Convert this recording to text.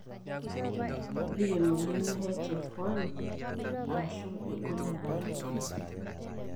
kebik emoyian e HFI aashu egol ebaata oleng'